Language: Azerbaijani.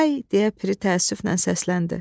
Vay, deyə piri təəssüflə səsləndi.